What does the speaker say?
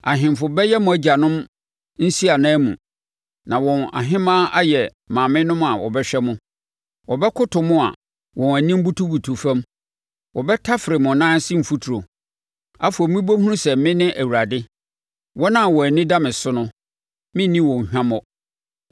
Ahemfo bɛyɛ mo agyanom nsiananmu, na wɔn ahemaa ayɛ maamenom a wɔbɛhwɛ mo. Wɔbɛkoto mo a wɔn anim butubutu fam; wɔbɛtafere mo nan ase mfuturo. Afei mobɛhunu sɛ me ne Awurade; Wɔn a wɔn ani da me so no, merenni wɔn hwammɔ.”